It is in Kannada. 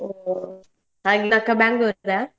ಓಹ್ ಹಾಗೆ ಅಕ್ಕ Bangalore ರಾ?